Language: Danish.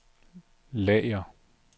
lager